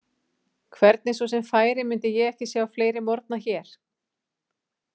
Hvernig svo sem færi myndi ég ekki sjá fleiri morgna hér.